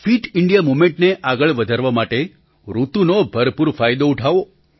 fit India મૂવમેન્ટને આગળ વધારવા માટે ઋતુનો ભરપૂર ફાયદો ઊઠાવો